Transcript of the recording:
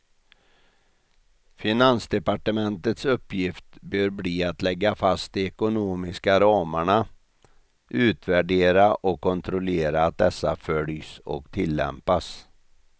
Finansdepartementets uppgift bör bli att lägga fast de ekonomiska ramarna, utvärdera och kontrollera att dessa följs och tillämpas.